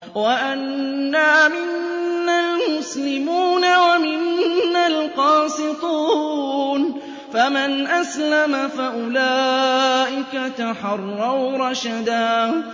وَأَنَّا مِنَّا الْمُسْلِمُونَ وَمِنَّا الْقَاسِطُونَ ۖ فَمَنْ أَسْلَمَ فَأُولَٰئِكَ تَحَرَّوْا رَشَدًا